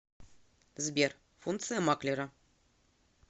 сбер функция маклера